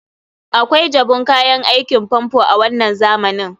akwai jabun kayan aikin famfo a wannan zamanin